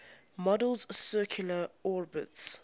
model's circular orbits